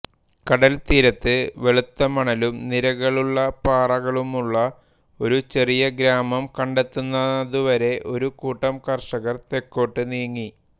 കടൽത്തീരത്ത് വെളുത്ത മണലും നിരകളുള്ള പാറകളുമുള്ള ഒരു ചെറിയ ഗ്രാമം കണ്ടെത്തുന്നതുവരെ ഒരു കൂട്ടം കർഷകർ തെക്കോട്ട് നീങ്ങി